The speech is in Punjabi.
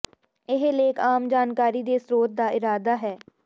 ਇਹ ਲੇਖ ਆਮ ਜਾਣਕਾਰੀ ਦੇ ਸਰੋਤ ਦਾ ਇਰਾਦਾ ਹੈ